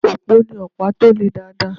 Òpó ní ọ̀pá tó le dáadáa.